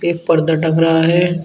एक पर्दा टंग रहा है।